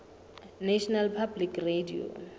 national public radio